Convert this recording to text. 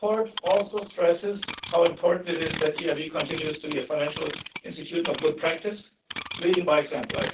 The report also stresses how important it is that EIB continues to be a financial institution of good practice, leading by example.